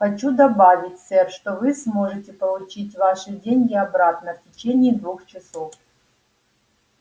хочу добавить сэр что вы сможете получить ваши деньги обратно в течение двух часов